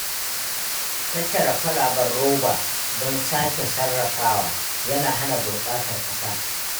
Tattara kwalaben roba don sake sarrafawa yana hana gurɓatar ƙasa.